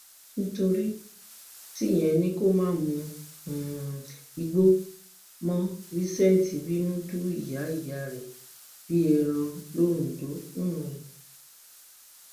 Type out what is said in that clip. nítorí tíyẹn ni kó má mú um igbó mọ vincent bínú du ìyáìyá rẹ bíi ẹran londo um